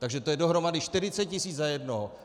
Takže to je dohromady 40 tisíc za jednoho.